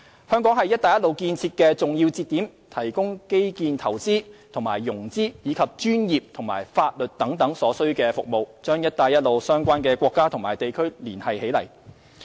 香港是"一帶一路"建設的重要節點，提供基建投資和融資，以及專業和法律等所需服務，將"一帶一路"相關國家和地區連繫起來。